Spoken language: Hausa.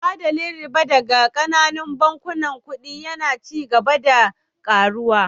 Adadin riba daga ƙananun bankunan kuɗi yana ci gaba da ƙaruwa